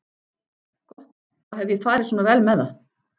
Gott, þá hef ég farið svona vel með það.